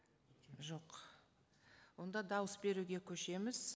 жоқ онда дауыс беруге көшеміз